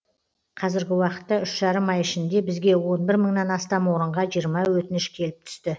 қазіргі уақытта үш жарым ай ішінде бізге он бір мыңнан астам орынға жиырма өтініш келіп түсті